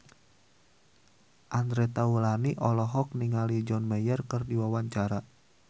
Andre Taulany olohok ningali John Mayer keur diwawancara